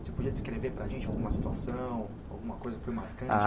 Você podia descrever para a gente alguma situação, alguma coisa que foi marcante? A